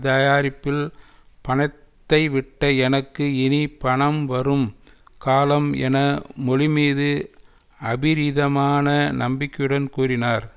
தயாரிப்பில் பணத்தை விட்ட எனக்கு இனி பணம் வரும் காலம் என மொழி மீது அபிரிதமான நம்பிக்கையுடன் கூறினார்